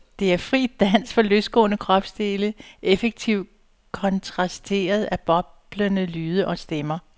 Det er fri dans for løsgående kropsdele, effektivt kontrasteret af boblende lyde og stemmer.